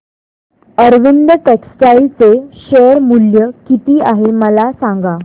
Arvind textile चे share मूल्य किती आहे मला सांगा